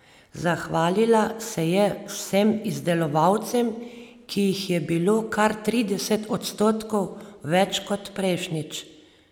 Zahvalila se je vsem izdelovalcem, ki jih je bilo kar trideset odstotkov več kot prejšnjič.